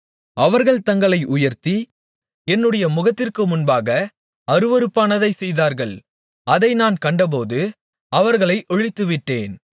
அவர்கள் தங்களை உயர்த்தி என்னுடைய முகத்திற்கு முன்பாக அருவருப்பானதைச் செய்தார்கள் அதை நான் கண்டபோது அவர்களை ஒழித்துவிட்டேன்